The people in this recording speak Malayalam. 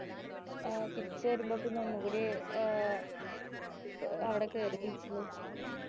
ആഹ് തിരിച്ചു വരുമ്പക്ക് ഒന്നും കൂടി ഏർ അവിടെ കേറി beach ല്